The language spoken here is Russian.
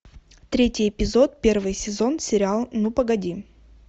третий эпизод первый сезон сериал ну погоди